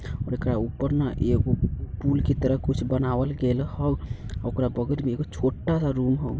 और एकरा ऊपर ने एगो पुल के तरह कुछ बनावल गेल होऊ ओकरा बगल में एगो छोटा सा रूम होऊ।